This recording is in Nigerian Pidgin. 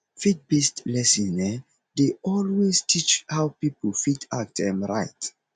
faith based lesson um dey always teach how pipo fit act um right